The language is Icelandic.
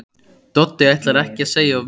Doddi ætlar ekki að segja of mikið.